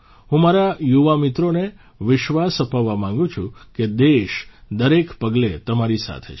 હું મારા યુવા મિત્રોને વિશ્વાસ અપાવવા માંગું છું કે દેશ દરેક પગલે તમારી સાથે છે